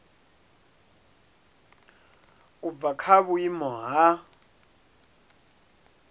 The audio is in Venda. u bva kha vhuimo ha